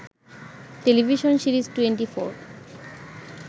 television series twenty four